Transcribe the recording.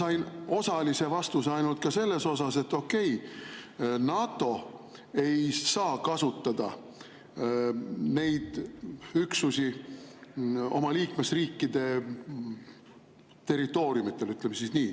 Ma sain osalise vastuse ainult selle kohta, et okei, NATO ei saa kasutada neid üksusi oma liikmesriikide territooriumidel, ütleme nii.